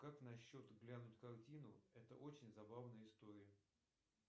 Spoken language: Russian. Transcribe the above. как насчет глянуть картину это очень забавная история